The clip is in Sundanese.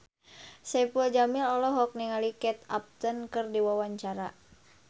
Saipul Jamil olohok ningali Kate Upton keur diwawancara